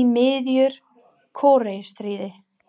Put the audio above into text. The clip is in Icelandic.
í miðju Kóreustríði.